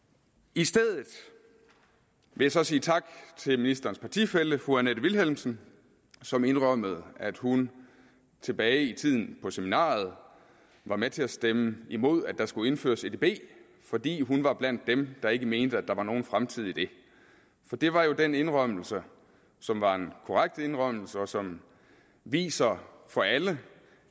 i stedet vil jeg så sige tak til ministerens partifælle fru annette vilhelmsen som indrømmede at hun tilbage i tiden på seminariet var med til at stemme imod at der skulle indføres edb fordi hun var blandt dem der ikke mente at der var nogen fremtid i det det var jo den indrømmelse som var en korrekt indrømmelse og som viser for alle